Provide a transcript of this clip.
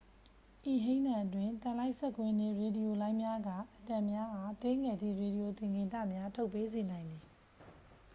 ဤဟိန်းသံအတွင်း သံလိုက်စက်ကွင်းနှင့် ရေဒီယိုလိုင်းများက အက်တမ်များအား သေးငယ်သည့် ရေဒီယိုသင်္ကေတများ ထုတ်ပေးစေနိုင်သည်